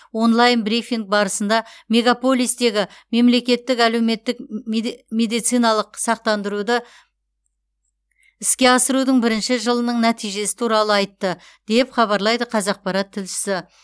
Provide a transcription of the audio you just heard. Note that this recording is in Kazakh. онлайн брифинг барысында мегаполистегі мемлекеттік әлеуметтік ммеде медициналық сақтандыруды іске асырудың бірінші жылының нәтижесі туралы айтты деп хабарлайды қазақпарат тілшісі